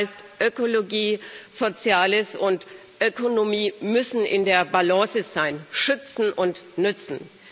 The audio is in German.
Das heißt Ökologie, Soziales und Ökonomie müssen in der Balance sein schützen und nützen.